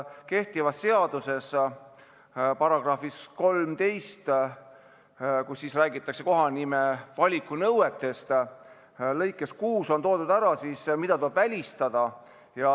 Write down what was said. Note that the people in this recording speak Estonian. Kehtiva seaduse §-s 13 räägitakse kohanime valiku nõuetest ja lõikes 6 on öeldud, mida tuleb välistada.